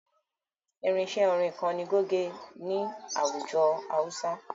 Irinṣẹ́ orin kan ni goge ni àwùjọ hausa.